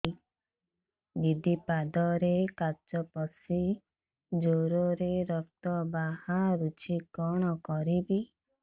ଦିଦି ପାଦରେ କାଚ ପଶି ଜୋରରେ ରକ୍ତ ବାହାରୁଛି କଣ କରିଵି